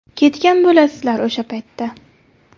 Ketgan bo‘lasizlar o‘sha paytda.